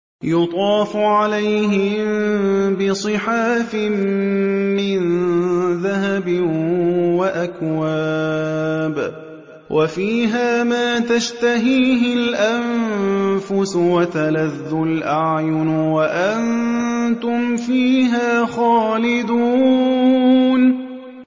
يُطَافُ عَلَيْهِم بِصِحَافٍ مِّن ذَهَبٍ وَأَكْوَابٍ ۖ وَفِيهَا مَا تَشْتَهِيهِ الْأَنفُسُ وَتَلَذُّ الْأَعْيُنُ ۖ وَأَنتُمْ فِيهَا خَالِدُونَ